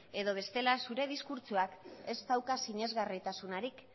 edo bestela zure diskurtsoak ez dauka sinesgarritasunik